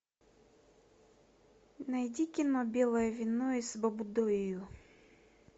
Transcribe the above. найди кино белое вино из баббудойу